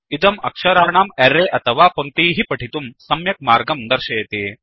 इदम् अक्षराणां अर्रय अथवा पङ्क्तीः पठितुं सम्यक् मार्गं दर्शयति